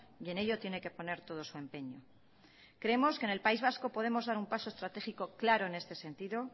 y en ello tiene que poner todo su empeño creemos que en el país vasco podemos dar un paso estratégico claro en este sentido